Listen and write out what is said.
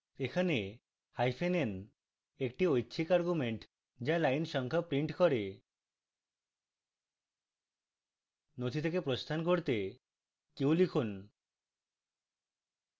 এখানে hyphen n একটি ঐচ্ছিক argument যা line সংখ্যা prints করে নথি থেকে প্রস্থান করতে q লিখুন